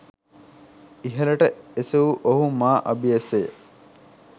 ඉහළට එසවූ ඔහු මා අබියස ය.